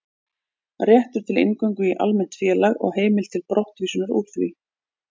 Réttur til inngöngu í almennt félag og heimild til brottvísunar úr því.